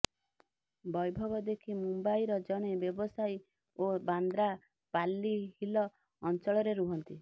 ବୈଭବ ରେଖି ମୁମ୍ବାଇର ଜଣେ ବ୍ୟବସାୟୀ ଓ ବାନ୍ଦ୍ରା ପାଲି ହିଲ ଅଞ୍ଚଳରେ ରୁହନ୍ତି